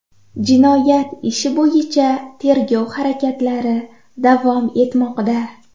Jinoyat ishi bo‘yicha tergov harakatlari davom etmoqda”.